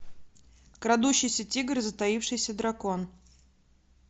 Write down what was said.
крадущийся тигр и затаившийся дракон